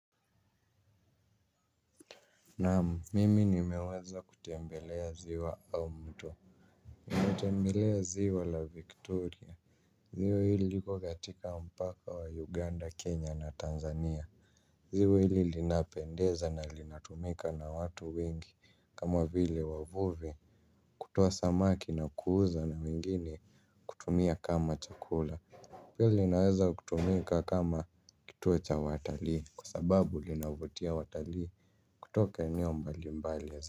Naam, mimi nimeweza kutembelea ziwa au mto. Nimetembelea ziwa la Victoria. Ziwa hili liko katika mpaka wa Uganda, Kenya na Tanzania. Ziwa hili linapendeza na linatumika na watu wengi kama vile wavuvi. Kutoa samaki na kuuza na mwingine kutumia kama chakula. Pia linaweza kutumika kama kituo cha watali kwsababu linavutia watalii kutoka eneo mbali mbali la ziwa.